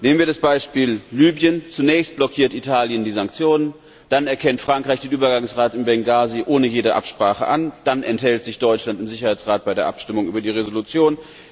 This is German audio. Nehmen wir das Beispiel Libyen Zunächst blockiert Italien die Sanktionen, dann erkennt Frankreich den Übergangsrat in Bengasi ohne jede Absprache an und schließlich enthält sich Deutschland im Sicherheitsrat bei der Abstimmung über die Resolution.